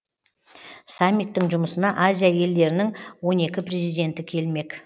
саммиттің жұмысына азия елдерінің он екі президенті келмек